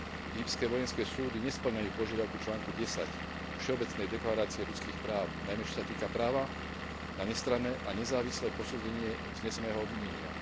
Egyptské vojenské súdy nespĺňajú požiadavku článku 10 Všeobecnej deklarácie ľudských práv, najmä čo sa týka práva na nestranné a nezávislé posúdenie vzneseného obvinenia.